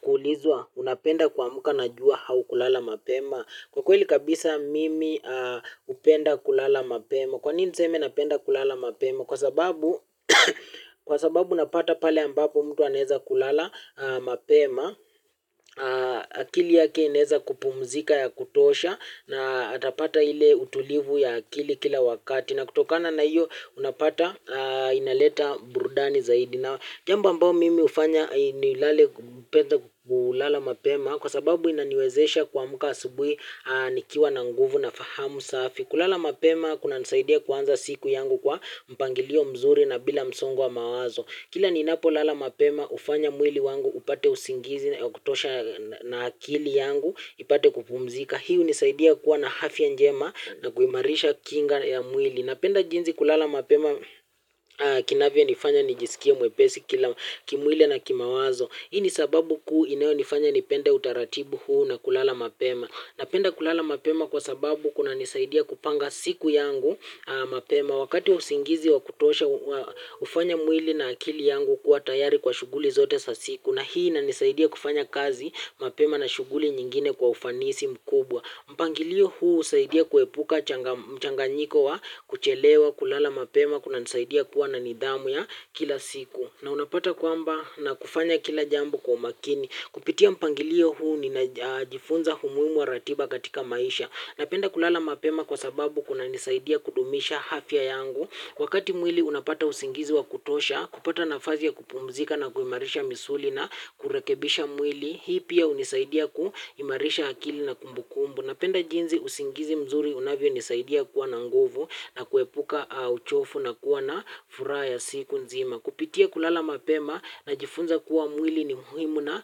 Kuulizwa unapenda kuamka najua haukulala mapema kwa kweli kabisa mimi hupenda kulala mapema kwa nini niseme napenda kulala mapema kwa sababu napata pale ambapo mtu anaweza kulala mapema akili yake inaweza kupumzika ya kutosha na atapata ile utulivu ya akili kila wakati na kutokana na hiyo unapata inaleta burudani zaidi na jambo ambao mimi hufanya nipende kulala mapema kwa sababu inaniwezesha kuamka asubuhi nikiwa na nguvu na fahamu safi. Kulala mapema kunanisaidia kuanza siku yangu kwa mpangilio mzuri na bila msongo wa mawazo. Kila ninapo lala mapema hufanya mwili wangu upate usingizi wa kutosha na akili yangu ipate kupumzika. Hii hunisaidia kuwa na afya njema na kuimarisha kinga ya mwili. Napenda jinsi kulala mapema kinavya nifanya nijisikie mwepesi kimwili na kimawazo. Hii ni sababu kuu inayonifanya nipende utaratibu huu na kulala mapema. Napenda kulala mapema kwa sababu kunanisaidia kupanga siku yangu mapema wakati usingizi wa kutosha hufanya mwili na akili yangu kuwa tayari kwa shuguli zote za siku na hii inanisaidia kufanya kazi mapema na shuguli nyingine kwa ufanisi mkubwa. Mpangilio huu husaidia kuepuka mchanganyiko wa kuchelewa kulala mapema kunanisaidia kuwa na nidhamu ya kila siku. Na unapata kwamba nafanya kila jambo kwa makini. Kupitia mpangilio huu ninajifunza umuhimu wa ratiba katika maisha. Napenda kulala mapema kwa sababu kunanisaidia kudumisha afya yangu. Wakati mwili unapata usingizi wa kutosha, kupata nafasi ya kupumzika na kuimarisha misuli na kurekebisha mwili. Hii pia hunisaidia kuimarisha akili na kumbukumbu. Napenda jinsi usingizi mzuri unavyo nisaidia kuwa na nguvu na kuepuka uchovu na kuwa na furaha ya siku nzima. Kupitia kulala mapema najifunza kuwa mwili ni muhimu na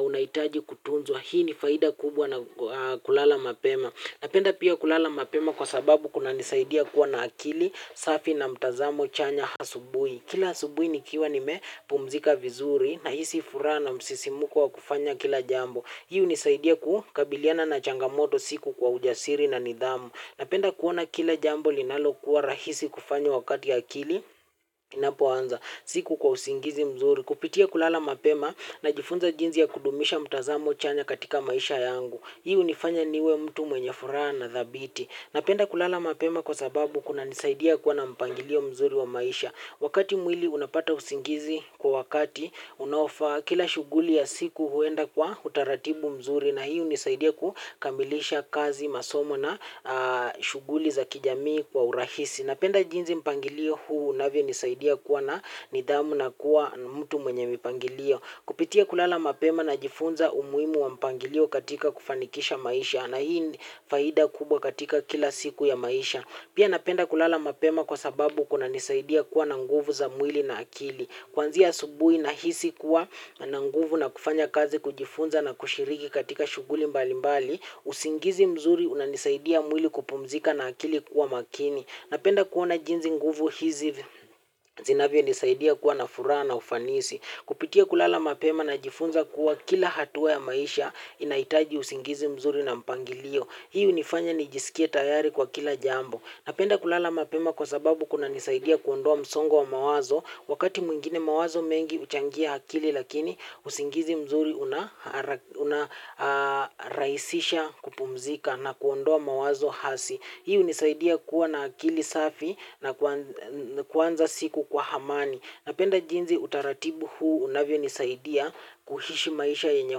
unahitaji kutunzwa. Hii ni faida kubwa na kulala mapema. Napenda pia kulala mapema kwa sababu kunanisaidia kuwa na akili, safi na mtazamo chanya asubuhi. Kila asubuhi nikiwa nime pumzika vizuri nahisi furaha na msisimko wa kufanya kila jambo hii hunisaidia kukabiliana na changamoto siku kwa ujasiri na nidhamu. Napenda kuona kila jambo linalokuwa rahisi kufanya wakati akili inapo anza. Siku kwa usingizi mzuri kupitia kulala mapema najifunza jinsi ya kudumisha mtazamo chanya katika maisha yangu. Hii hunifanya niwe mtu mwenye furaha na thabiti. Napenda kulala mapema kwa sababu kunanisaidia kuwa na mpangilio mzuri wa maisha. Wakati mwili unapata usingizi kwa wakati unaofaa kila shuguli ya siku huenda kwa utaratibu mzuri na hio hunisaidia kukamilisha kazi masomo na shuguli za kijamii kwa urahisi. Napenda jinsi mpangilio huu unavyonisaidia kuwa na nidhamu na kuwa mtu mwenye mipangilio. Kupitia kulala mapema najifunza umuhimu wa mipangilio katika kufanikisha maisha. Na hii ni faida kubwa katika kila siku ya maisha. Pia napenda kulala mapema kwa sababu kunanisaidia kuwa na nguvu za mwili na akili. Kwanzia asubuhi nahisi kuwa nina nguvu ya kufanya kazi kujifunza na kushiriki katika shuguli mbali mbali. Usingizi mzuri unanisaidia mwili kupumzika na akili kuwa makini. Napenda kuona jinsi nguvu hizi zinavyo nisaidia kuwa na furaha na ufanisi. Kupitia kulala mapema najifunza kuwa kila hatua ya maisha inahitaji usingizi mzuri na mpangilio. Hii hunifanya nijisikie tayari kwa kila jambo. Napenda kulala mapema kwa sababu kunanisaidia kuondoa msongo wa mawazo. Wakati mwingine mawazo mengi huchangia akili lakini usingizi mzuri unarahisisha kupumzika na kuondoa mawazo hasi. Hii hunisaidia kuwa na akili safi na kuanza siku kwa amani. Napenda jinsi utaratibu huu unavyo nisaidia kuishi maisha yenye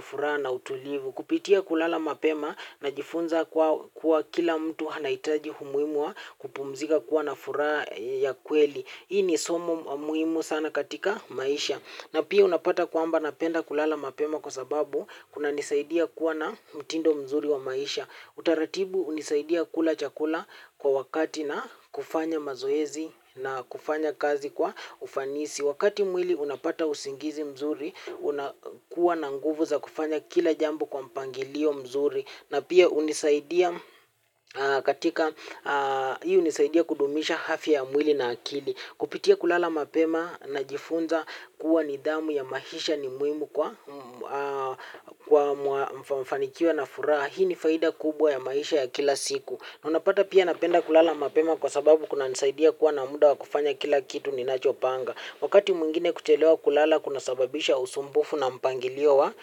furaha na utulivu. Kupitia kulala mapema najifunza kuwa kila mtu anahitaji umuhimu wa kupumzika kuwa na furaha ya kweli. Hii ni somo muhimu sana katika maisha. Na pia unapata kwamba napenda kulala mapema kwa sababu kunanisaidia kuwa na mtindo mzuri wa maisha utaratibu hunisaidia kula chakula kwa wakati na kufanya mazoezi na kufanya kazi kwa ufanisi wakati mwili unapata usingizi mzuri unakuwa na nguvu za kufanya kila jambo kwa mpangilio mzuri na pia hunisaidia kudumisha afya ya mwili na akili kupitia kulala mapema najifunza kuwa nidhamu ya maisha ni muhimu kwa kufanikiwa na furaha. Hii ni faida kubwa ya maisha ya kila siku. Unapata pia napenda kulala mapema kwa sababu kunanisaidia kuwa na muda wa kufanya kila kitu ninachopanga. Wakati mwingine kuchelewa kulala kuna sababisha usumbufu na mpangilio wa.